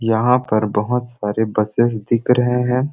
यहाँ पर बहुत सारे बसेस दिख रहे है।